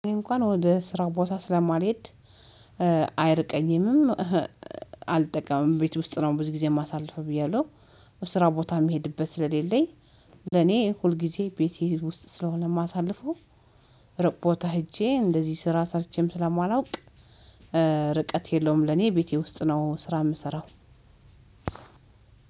እንኳን ወደ ስራው ቦታ ስለማልሄድ አይርቀኝም አልጠቀምም ቤት ውስጥ ነው ብዙ ጊዜ የማሳልፈው ብያለሁ። ስራ ቦታ የሚሄድበት ስለሌለኝ ለኔ ሁል ጊዜ ቤቴ ውስጥ ስለሆነ ማሳለፈው። ሩቅ ቦታ ሄጄ እንደዚህ ስራ ሰርቼም ስለማላውቅ ርቀት የለውም ለኔ ቤቴ ውስጥ ነው። ስራ የምሰራው።